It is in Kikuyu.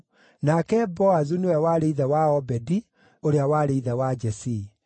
nake Boazu nĩwe warĩ ithe wa Obedi, ũria warĩ ithe wa Jesii.